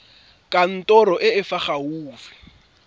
kantorong e e fa gaufi